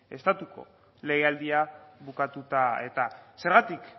estatuko legealdia bukatuta eta zergatik